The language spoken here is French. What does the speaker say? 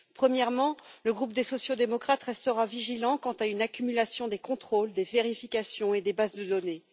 Premièrement, le groupe des sociaux démocrates restera vigilant quant à une accumulation des contrôles, des vérifications et des bases de données.